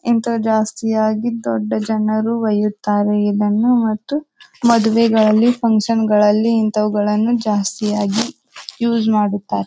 ಅಂತ ಜಾಸ್ತಿಯಾಗಿ ದೊಡ್ಡ ಜನರು ಬಯ್ಯುತ್ತಾರೆ ಇದನ್ನು ಮತ್ತು ಮದುವೆಗಳಲ್ಲಿ ಫುನ್ಕ್ಷನ್ ಗಳಲ್ಲಿ ಇಂತವಳನ್ನು ಜಾಸ್ತಿಯಾಗಿ ಯೂಸ್ ಮಾಡುತ್ತಾರೆ.